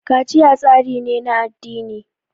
kaciya tsari ne na addini